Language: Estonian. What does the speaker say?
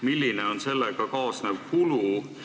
Milline on sellega kaasnev kulu?